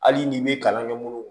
Hali n'i bɛ kalan kɛ mun